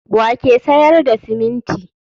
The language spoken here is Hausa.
wa ke sayar da siminti?